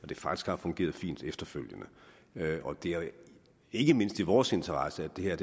det faktisk har fungeret fint efterfølgende og det er ikke mindst i vores interesse at det her